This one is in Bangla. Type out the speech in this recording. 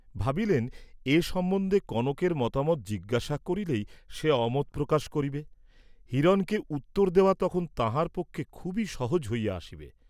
ভাবিলেন, এ সম্বন্ধে কনকের মতামত জিজ্ঞাসা করিলেই সে অমত প্রকাশ করিবে, হিরণকে উত্তর দেওয়া তখন তাঁহার পক্ষে খুবই সহজ হইয়া আসিবে।